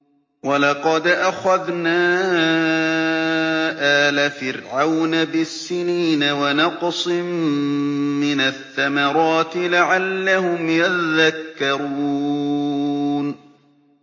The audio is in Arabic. وَلَقَدْ أَخَذْنَا آلَ فِرْعَوْنَ بِالسِّنِينَ وَنَقْصٍ مِّنَ الثَّمَرَاتِ لَعَلَّهُمْ يَذَّكَّرُونَ